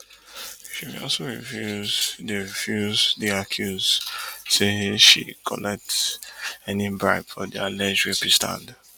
she bin also refuse di refuse di accuse say she collect any bribe for di alleged rapist hand